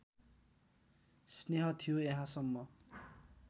स्नेह थियो यहाँसम्म